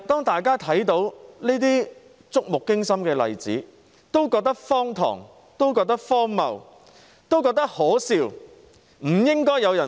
大家看到這些觸目驚心的例子，都感到荒唐、荒謬、可笑，難以置信。